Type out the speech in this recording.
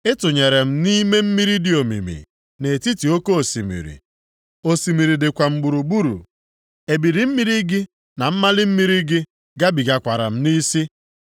Ị tụnyere m nʼime mmiri dị omimi, nʼetiti oke osimiri. Osimiri dịkwa m gburugburu, ebili mmiri gị na mmali mmiri gị gabigakwara m nʼisi.